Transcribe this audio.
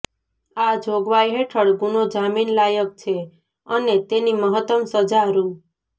આ જોગવાઈ હેઠળ ગુનો જામીન લાયક છે અને તેની મહત્તમ સજા રૂ